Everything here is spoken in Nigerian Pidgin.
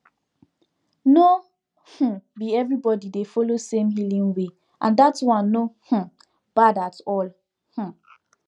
no um be everybody dey follow same healing way and that one no um bad at all um